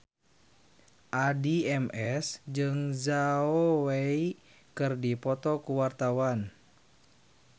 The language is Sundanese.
Addie MS jeung Zhao Wei keur dipoto ku wartawan